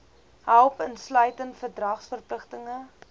help insluitend verdragsverpligtinge